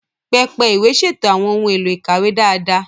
Pẹpẹ ìwé ṣètò àwọn ohun èlò ìkàwé dáadáa.